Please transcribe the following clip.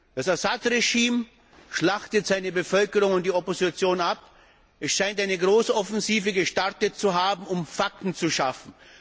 Das Assad Regime schlachtet seine Bevölkerung und die Opposition ab, es scheint eine Großoffensive gestartet zu haben, um Fakten zu schaffen.